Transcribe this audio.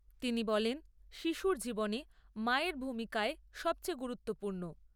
তিনি বলেন, শিশুর জীবনে মায়ের ভূমিকায় সবচেয়ে গুরুত্বপূর্ণ।